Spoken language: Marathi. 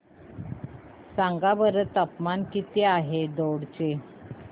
सांगा बरं तापमान किती आहे दौंड चे